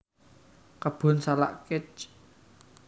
Kebun Salak Kec